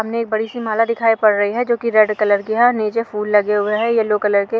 सामने एक बड़ी सी माला दिखायी पड़ रही है जो कि रेड कलर की है। नीचे फुल लगे हुए है येल्लो कलर के --